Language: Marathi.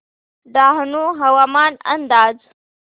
डहाणू हवामान अंदाज